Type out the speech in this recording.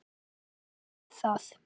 Stendur þú enn við það?